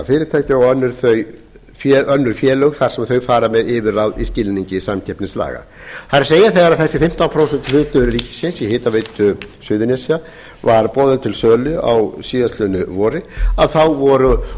fyrirtækja og önnur félög þar sem þau fara með yfirráð í skilningi samkeppnislaga það er þegar þessi fimmtán prósent hlutur ríkisins í hitaveitu suðurnesja var boðinn til sölu á síðastliðnu vori þá voru